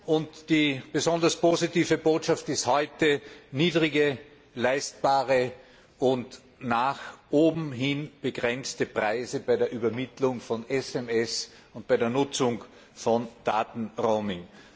Und die besonders positive Botschaft heute sind niedrige, leistbare und nach oben hin begrenzte Preise bei der Übermittlung von SMS und bei der Nutzung von Daten Roaming.